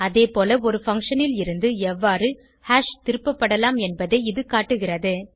அதேபோல் ஒரு பங்ஷன் லிருந்து எவ்வாறு ஹாஷ் திருப்பப்படலாம் என்பதை இது காட்டுகிறது